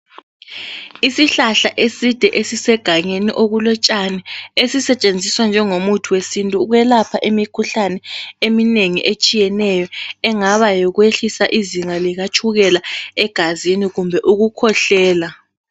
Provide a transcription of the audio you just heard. Isihlahla eside esisegangeni okulotshani esisetshenziswa njengomuthi wesintu ukwelapha imikhuhlane eminengi etshiyeneyo engaba yikwehlisa izinga likatshukela egazini kumbe ukukhwehlela.